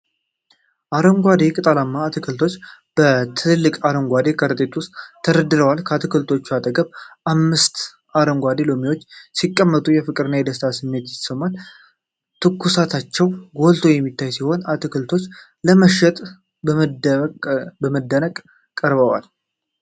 አረንጓዴ ቅጠላማ አትክልቶች በትልቅ አረንጓዴ ከረጢት ውስጥ ተደርድረዋል። ከአትክልቶቹ አጠገብ አምስት አረንጓዴ ሎሚዎች ሲቀመጡ፣ የፍቅርና የደስታ ስሜት ይሰማል። ትኩስነታቸው ጎልቶ የሚታይ ሲሆን፣ አትክልቶቹ ለመሸጥ በመደነቅ ቀርበዋል